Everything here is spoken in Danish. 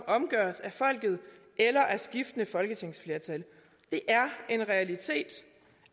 omgøres af folket eller af skiftende folketingsflertal det er en realitet